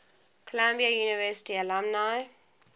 columbia university alumni